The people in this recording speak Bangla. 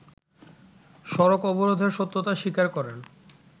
সড়ক অবরোধের সত্যতা স্বীকার করেন